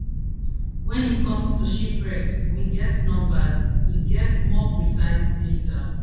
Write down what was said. wen it comes to shipwrecks we get numbers we get more precise data